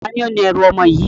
Taàní ó ní ẹ̀rù ọmọ yìí?